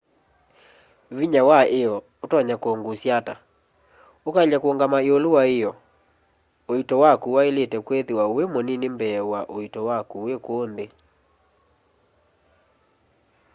vinya wa io utonya kungusya ata ukaelya kuungama iulu wa io uito waku wailite kwithiwa wi munini mbee wa uito waku wi kuu nthi